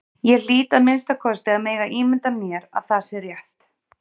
Ég hlýt að minnsta kosti að mega ímynda mér að það sé rétt.